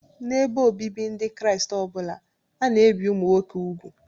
N'ebe obibi Ndị Kraịst ọ bụla, a na-ebi ụmụ nwoke úgwù